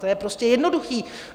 To je prostě jednoduchý.